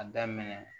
A daminɛ